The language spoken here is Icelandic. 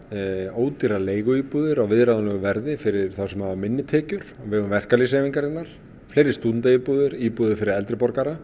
ódýrar leiguíbúðir á viðráðanlegu verði fyrir þá sem hafa minni tekjur vegum verkalýðshreyfingarinnar fleiri stúdentaíbúðir og íbúðir fyrir eldri borgara